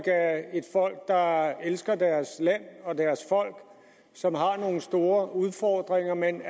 er et folk der elsker deres land og deres folk og som har nogle store udfordringer men